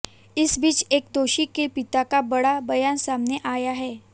इस बीच एक दोषी के पिता का बड़ा बयान सामने आया है